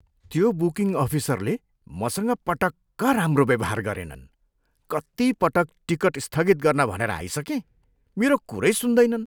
त्यो बुकिङ अफिसरले मसँग पटक्क राम्रो व्यवहार गरेनन्। कति पटक टिकट स्थगित गर्न भनेर आइसकेँ, मेरो कुरै सुन्दैनन्!